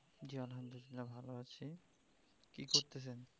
জি আলহামদুলিল্লাহ্‌ ভালো আছি কি করতেছেন?